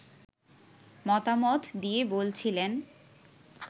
মতামত দিয়ে বলছিলেন